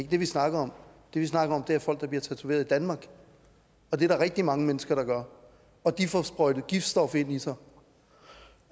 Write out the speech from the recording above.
det vi snakker om det vi snakker om er folk der bliver tatoveret i danmark og det er der rigtig mange mennesker der gør og de får sprøjtet et giftstof ind i sig